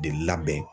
De labɛn